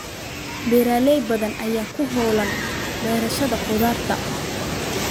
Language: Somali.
Beeraley badan ayaa ku hawlan beerashada khudaarta.